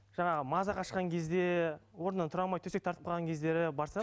жаңағы маза қашқан кезде орнынан тұра алмай төсек тартып қалған кездері барсам